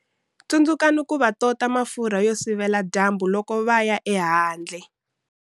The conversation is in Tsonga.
Tsundzukani ku va tota mafurha yo sivela dyambu loko va ya ehandle.